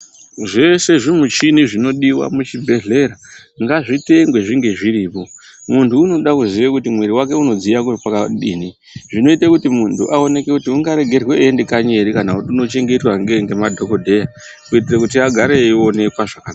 Zveshe zvimuchini zvinodiwa kuchibhehlera ngazvitengwe zvinge zviripo. Munhu unoda kuziya kuti mwiri wake unodziya kwakadini zvinoita kuti muntu aoneke kuti ungaregerwe eienda kanyi ere kana kuti unochengetwa ngemadhokodheya kuitira kuti agareyo eionekwa zvaka.